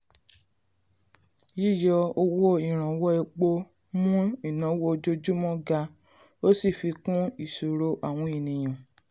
yíyọ owó ìrànwọ́ epo mú ìnáwó ojoojúmọ́ ga ó sì fi kún ìṣòro àwọn ènìyàn.